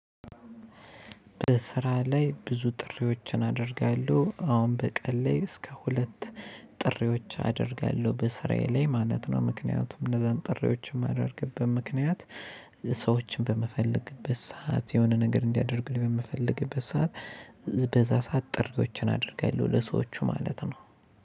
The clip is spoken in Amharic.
በስራ ላይ ብዙ ጥሪዎችን አደርጋለሁ አሁን በቀን ላይ እስከ ሁለት ጥሪዎች አደርጋለሁ በስራዬ ላይ ማለት ነው። ምክንያቱም እነዛን ጥሪዎችን የማደርግበት ምክንያት ሰዎችን በመፈለግበት ሰዓት የሆነ ነገር እንዲያደርጉ በምፈለግበት ሰዓት። በዛ ሰዓት ጥሪዎችን አድርጋለሁ ለሰዎቹ ማለት ነው።